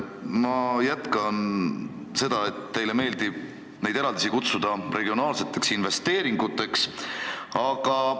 Ma jätkan seda liini pidi, et teile meeldib neid eraldisi regionaalseteks investeeringuteks kutsuda.